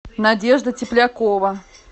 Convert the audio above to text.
надежда теплякова